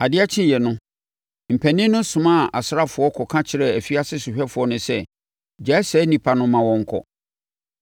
Adeɛ kyeeɛ no, mpanin no somaa asraafoɔ kɔka kyerɛɛ afiase sohwɛfoɔ no sɛ, “Gyaa saa nnipa no ma wɔnkɔ.”